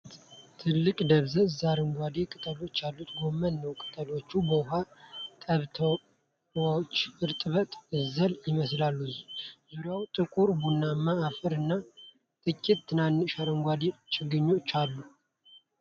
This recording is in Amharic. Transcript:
ትልልቅ፣ ደብዛዛ አረንጓዴ ቅጠሎችና ያሉት ጎመን ነው። ቅጠሎቹ በውሃ ጠብታዎች እርጥበት አዘል ይመስላሉ፤ ዙሪያው ጥቁር ቡናማ አፈር እና ጥቂት ትናንሽ አረንጓዴ ችግኞች አሉ።